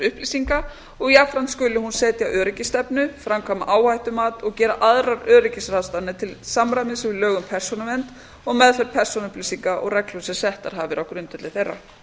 upplýsinga og jafnframt skuli hún setja öryggisstefnu framkvæma áhættumat og gera aðrar öryggisráðstafanir til samræmis við lög um persónuvernd og meðferð persónuupplýsinga og reglur sem settar hafa verið á grundvelli þeirra